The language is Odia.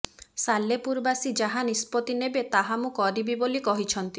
ସାଲେପୁରବାସୀ ଯାହା ନିଷ୍ପତି ନେବେ ତାହା ମୁଁ କରିବି ବୋଲି କହିଛନ୍ତି